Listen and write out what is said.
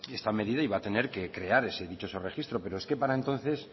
esta medida y va a tener que crear ese dichoso registro pero es que para entonces